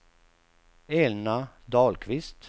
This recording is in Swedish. Elna Dahlqvist